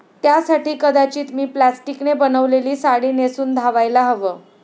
त्यासाठी कदाचित मी प्लास्टिकने बनवलेली साडी नेसून धावायला हवं'.